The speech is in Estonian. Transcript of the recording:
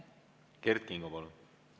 Kert Kingo, palun!